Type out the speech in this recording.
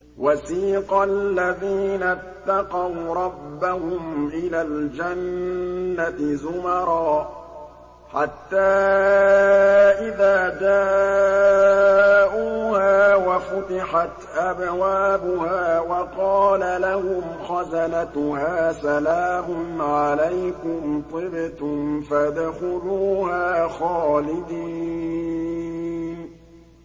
وَسِيقَ الَّذِينَ اتَّقَوْا رَبَّهُمْ إِلَى الْجَنَّةِ زُمَرًا ۖ حَتَّىٰ إِذَا جَاءُوهَا وَفُتِحَتْ أَبْوَابُهَا وَقَالَ لَهُمْ خَزَنَتُهَا سَلَامٌ عَلَيْكُمْ طِبْتُمْ فَادْخُلُوهَا خَالِدِينَ